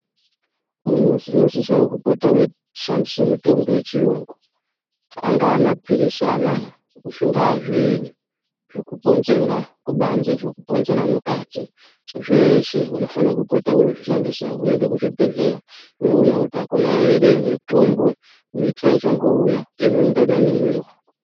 Vantu munosisawo kushandiswa mitombo yechiyungu angaa mapilizi anaya zvingaa zviinyi zvekuponzera mukati zveshe unofanira kupota weizvishandisa weionawo kuti hakuna mitombo mitsva ichangouya.